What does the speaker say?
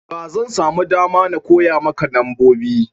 ba zan samu dama ba da zan koya maka nambobi